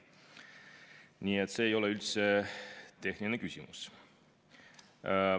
Nii et see ei ole üldse lihtsalt tehniline küsimus.